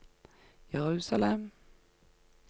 Jerusalem